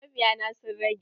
Mabiya na sun rage.